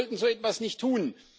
Wir sollten so etwas nicht tun.